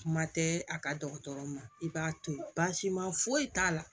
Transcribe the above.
Kuma tɛ a ka dɔgɔtɔrɔ ma i b'a to yen baasi ma foyi t'a la